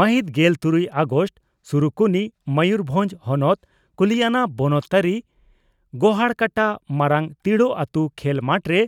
ᱢᱟᱹᱦᱤᱛ ᱜᱮᱞ ᱛᱩᱨᱩᱭ ᱟᱜᱚᱥᱴ (ᱥᱩᱨᱩᱠᱩᱱᱤ) ᱺ ᱢᱚᱭᱩᱨᱵᱷᱚᱸᱡᱽ ᱦᱚᱱᱚᱛ ᱠᱩᱞᱤᱭᱟᱱᱟ ᱵᱚᱱᱚᱛ ᱛᱟᱹᱨᱤ ᱜᱚᱦᱟᱲᱠᱟᱴᱟᱼᱢᱟᱨᱟᱝ ᱛᱤᱲᱚ ᱟᱹᱛᱩ ᱠᱷᱮᱞ ᱢᱟᱴᱨᱮ